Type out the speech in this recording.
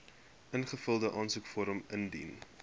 ingevulde aansoekvorm indien